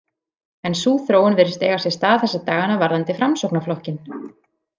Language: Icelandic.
En sú þróun virðist eiga sér stað þessa dagana varðandi Framsóknarflokkinn.